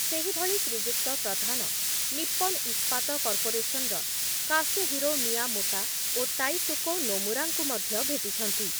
ସେହିଭଳି ଶ୍ରୀଯୁକ୍ତ ପ୍ରଧାନ ନିପ୍ପନ ଇସ୍ପାତ କର୍ପୋରେସନ୍‌ର କାସୁହିରୋ ମିୟାମୋଟା ଓ ତାଇସୁକେ ନୋମୁରାଙ୍କୁ ମଧ୍ୟ ଭେଟିଛନ୍ତି ।